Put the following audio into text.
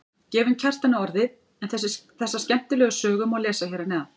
Gefum Kjartani orðið en þessa skemmtilegu sögu má lesa hér að neðan.